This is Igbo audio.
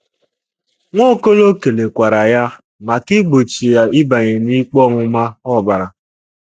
Nwaokolo kelekwara ya maka igbochi ya ịbanye n'ikpe ọmụma ọbara.